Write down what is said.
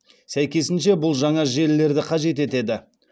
сәйкесінше бұл жаңа желілерді қажет етеді